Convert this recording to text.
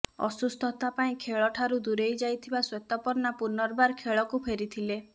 ଅସୁସ୍ଥତା ପାଇଁ ଖେଳ ଠାରୁ ଦୂରେଇ ଯାଇଥିବା ଶ୍ବେତପର୍ଣ୍ଣା ପୁନର୍ବାର ଖେଳକୁ ଫେରିଥିଲେ